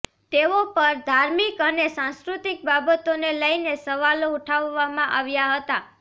તેઓ પર ધાર્મિક અને સાંસ્કૃતીક બાબતોને લઇને સવાલો ઉઠાવવામાં આવ્યા હતા